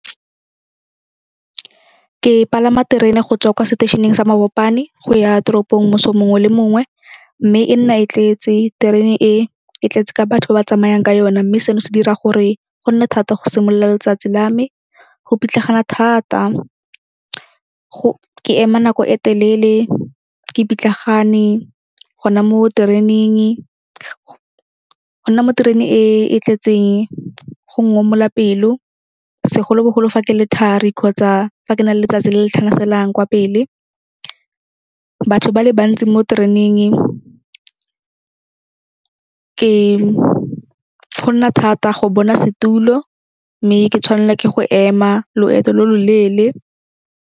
Ke palama terene go tswa kwa seteisheneng sa Mabopane go ya toropong moso mongwe le mongwe mme e nna e tletse. Terene e e tletse ka batho ba ba tsamayang ka yone mme seno se dira gore go nne thata go simolola letsatsi la me. Go pitlagana thata ke ema nako e telele ke pitlagane gona mo tereneng. Go nna mo terene e e tletseng go ngomola pelo segolobogolo fa ke le thari kgotsa fa ke na le letsatsi le le tlhanaselang kwa pele. Batho ba le bantsi mo tereneng go nna thata go bona setulo mme ke tshwanela ke go ema loeto lo lo leele.